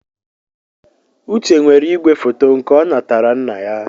Uche nwere ìgwèfoto nke ọ natara nna ya.